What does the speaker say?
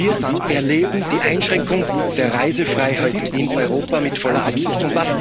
Wir erleben die Einschränkung der Reisefreiheit in Europa mit voller Absicht.